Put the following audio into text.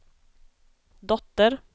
dotter